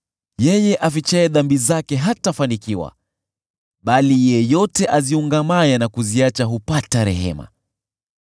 Yeye afichaye dhambi zake hatafanikiwa, bali yeyote aziungamaye na kuziacha hupata rehema.